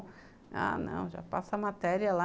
Ah não, já passa matéria lá.